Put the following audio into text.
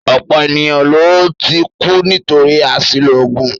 Ọ̀pọ̀ ènìyàn ló ti kú nítorí àṣìlò oògùn